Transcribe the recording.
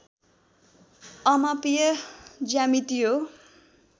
अमापीय ज्यामिति हो